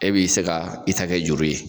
E b'i se ka i ta kɛ juru ye.